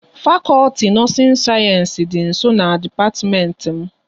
Fakọlti nọọsin sayensị dị nsọ na dipatiment m